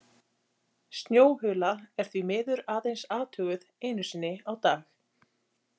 Snjóhula er því miður aðeins athuguð einu sinni á dag.